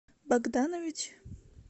богданович